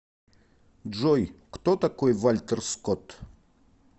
джой кто такой вальтер скотт